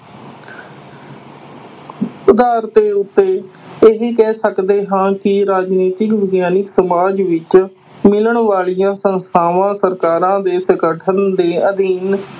ਆਧਾਰ ਦੇ ਉੱਤੇ ਇਹ ਕਹਿ ਸਕਦੇ ਹਾਂ ਕਿ ਰਾਜਨੀਤੀ ਵਿਗਿਆਨਕ ਸਮਾਜ ਵਿਚ ਮਿਲਣ ਵਾਲੀਆਂ ਸੰਸਥਾਵਾਂ, ਸਰਕਾਰਾਂ ਦੇ ਸੰਗਠਨ ਦੇ ਅਧਿਐਨ